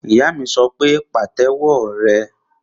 Ìyá mi sọ pé, Pàtẹ́wọ́ rẹ!